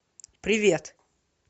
привет